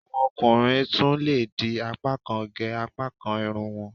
Àwọn ọkùnrin tún lè di apákan gẹ apákan irun wọ́n